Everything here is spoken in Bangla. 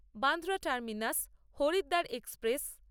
Bandra terminus Haridwar express